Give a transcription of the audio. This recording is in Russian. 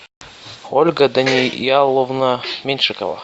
ольга данияловна меньшикова